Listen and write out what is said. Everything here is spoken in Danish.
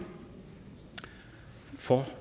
for